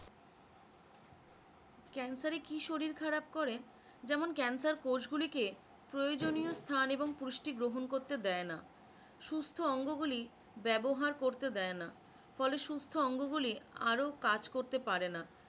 cancer এ কি শরীর খারাপ করে যেমন cancer কোষগুলি কে প্রয়োজনীয় স্থান এবং পুষ্টি গ্রহণ করতে দেয় না, সুস্থ অঙ্গগুলি ব্যবহার করতে দেয় না ফলে সুস্থ অঙ্গগুলি আরো কাজ করতে পারে না,